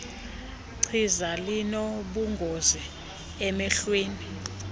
chiza linobungozi emehlweni